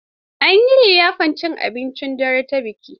An yi liyafar cin abincin dare ta bikin.